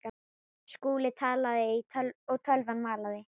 Skúli talaði og tölvan malaði.